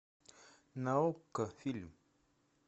на окко фильм